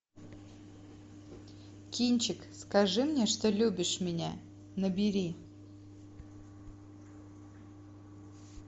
кинчик скажи мне что любишь меня набери